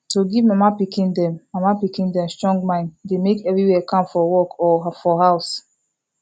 to give mama pikin them mama pikin them strong mind dey make everywhere calm for work or for house